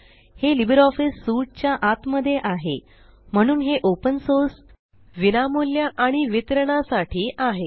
हे Libre Office suite च्या आतमध्ये आहे म्हणून हे ओपन सोर्स विनामूल्य आणि वितरणासाठी आहे